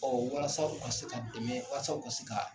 Ɔ walasa u ka se ka dɛmɛ walasa u ka se ka